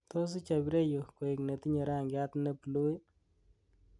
tos ichob ireyu koik netinye rangiat ne blue ii